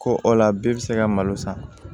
Ko o la bi se ka malo san